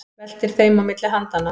Veltir þeim á milli handanna.